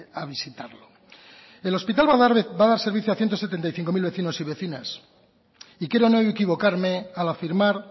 a visitarlo el hospital va a dar servicio a ciento setenta y cinco mil vecinos y vecinas y quiero no equivocarme al afirmar